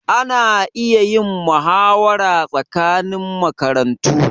Ana iya yin mahawara tsakanin makarantu.